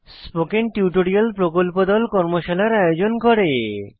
spoken tutorial প্রকল্প দল tutorial ব্যবহার করে কর্মশালার আয়োজন করে